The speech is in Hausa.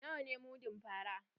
Nawa ne mudun fara?